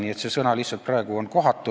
Nii et see sõna on praegu lihtsalt kohatu.